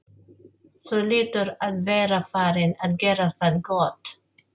Þú hlýtur að vera farinn að gera það gott!